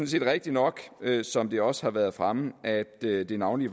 set rigtigt nok som det også har været fremme at det det navnlig